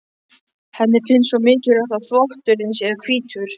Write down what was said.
Henni finnst svo mikilvægt að þvott- urinn sé hvítur.